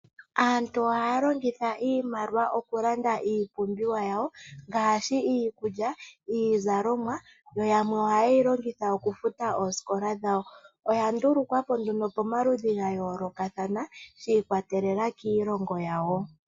Aantu ohaya longitha iimaliwa oku landa iipumbiwa yawo ngaashi iikulya, iizalomwa yo yamwe ohaye yi longitha okufuta oosikola dhawo. Oya ndulukwa po nduno komaludhi ga yoolokathana shi ikwatelela kiilongo yawo.